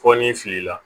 Fɔ ni fili la